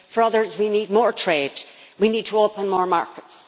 for others, we need more trade, we need to open more markets.